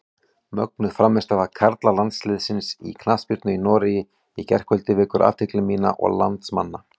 Mögnuð frammistaða karlalandsliðsins í knattspyrnu í Noregi í gærkvöldi vekur athygli mína og landsmanna.